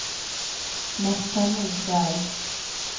Märta Nordberg